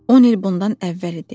10 il bundan əvvəl idi.